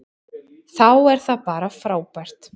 Þá er það bara frábært.